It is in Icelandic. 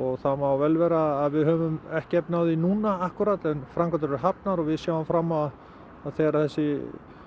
og það má vel vera að við höfum ekki efni á því núna akkúrat en framkvæmdir eru hafnar og við sjáum fram á að þegar þessi